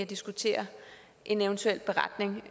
diskutere en eventuel beretning